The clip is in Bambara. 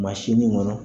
Mansin kɔnɔ